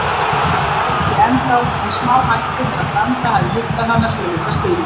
Rola vældi ennþá, en smáhætti þegar Branda hafði huggað hana svolitla stund.